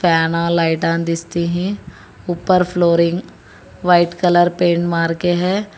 Panel लाइटान दिसती हैं ऊपर फ्लोरिंग व्हाइट कलर पेंट मार के है।